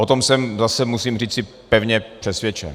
O tom jsem - zase musím říci - pevně přesvědčen.